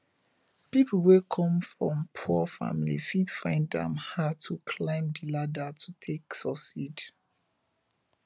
pipo wey come from poor family fit find am hard to climb di ladder to take succeed